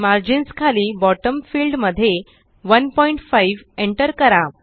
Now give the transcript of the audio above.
margins खाली bottom field मध्ये 15 enter करा